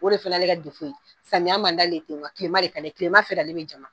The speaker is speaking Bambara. O de fana ye ale ka samiya man d'ale ten, kilema fɛ de ale bɛ jama.